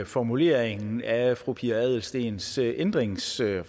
formuleringen af fru pia adelsteens ændringsforslag